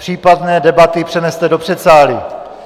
Případné debaty přeneste do předsálí.